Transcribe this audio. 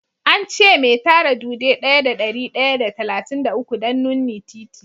An ce me tara dude daya da dari daya da talatin da uku don nunni titi.